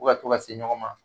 U ka to ka se ɲɔgɔn ma